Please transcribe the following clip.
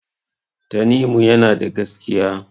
Tanimu yana da gaskiya.